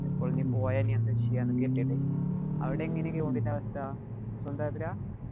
ഇപ്പോള്‍ ഇനി പോയാ എന്താ ചെയ്യാ എന്നൊക്കെ കരുതീട്ട് അവിടെ എങ്ങനെയാ ground ഇന്‍റെ അവസ്ഥ. സ്വന്തം അതിരാ?